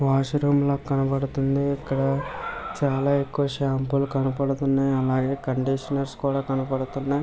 Wash room లాగా కనబడుతుంది ఇక్కడ చాలా ఎక్కువ షాంపులు కనపడుతున్నాయి అలాగే కండిషనర్స్ కనబడుతున్నాయి.